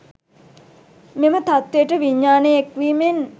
මෙම තත්ත්වයට විඤ්ඤාණය එක් වීමෙන්